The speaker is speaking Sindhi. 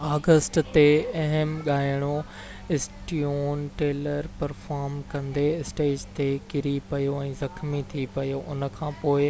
5 آگسٽ تي اهم ڳائڻو اسٽيون ٽيلر پرفارم ڪندي اسٽيج تي ڪري پيو ۽ زخمي ٿي پيو ان کانپوءِ